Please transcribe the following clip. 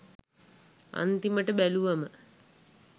අන්තිමට බැලුවම